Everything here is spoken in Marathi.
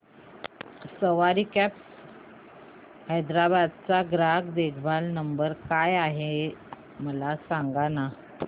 सवारी कॅब्स हैदराबाद चा ग्राहक देखभाल नंबर काय आहे मला सांगाना